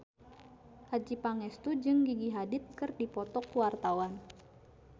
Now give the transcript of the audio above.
Adjie Pangestu jeung Gigi Hadid keur dipoto ku wartawan